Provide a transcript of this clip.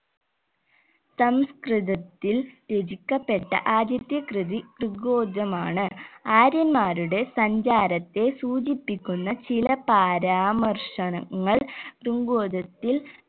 സംസ്‌കൃതത്തിൽ രചിക്കപ്പെട്ട ആദ്യത്തെ കൃതി ത്രികോജമാണ് ആര്യന്മാരുടെ സഞ്ചാരത്തെ സൂചിപ്പിക്കുന്ന ചില പരാമർഷണങ്ങൾ ത്രിങ്കോജത്തിൽ